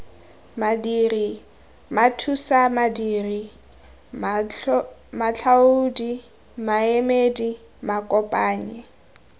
madiri mathusamadiri matlhaodi maemedi makopanyi